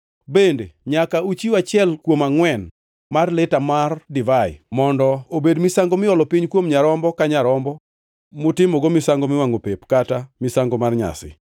Bende nyaka uchiw achiel kuom angʼwen mar lita mar divai mondo obed misango miolo piny kuom nyarombo ka nyarombo mutimogo misango miwangʼo pep kata misango mar nyasi.